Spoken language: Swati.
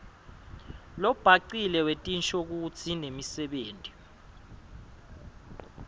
lobhacile wetinshokutsi nemisebenti